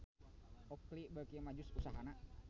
Oakley beuki maju usahana